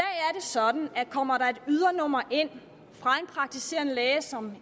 sådan at kommer et ydernummer ind fra en praktiserende læge som